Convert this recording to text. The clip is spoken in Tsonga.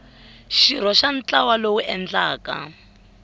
xirho xa ntlawa lowu endlaka